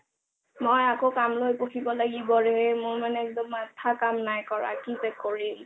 মই আকৌ কামলৈ বহিব লাগিব ৰে মোৰ মনে একদম মাথা কাম নাই কৰা কি যে কৰিম